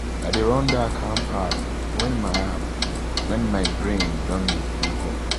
i dey run that calm app when my app when my brain don dey too hot.